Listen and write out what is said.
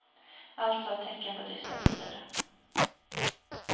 Alltså ett tecken på dystra tider.